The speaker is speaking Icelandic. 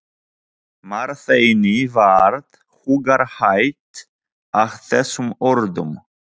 Marteini varð hugarhægð að þessum orðum.